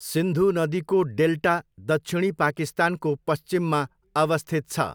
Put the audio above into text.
सिन्धु नदीको डेल्टा दक्षिणी पाकिस्तानको पश्चिममा अवस्थित छ।